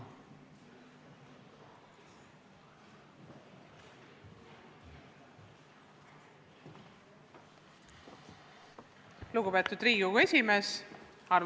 Lugupeetud Riigikogu esimees!